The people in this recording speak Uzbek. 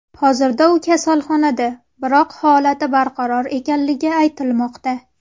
Hozirda u kasalxonada, biroq holati barqaror ekanligi aytilmoqda.